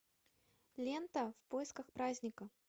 лента в поисках праздника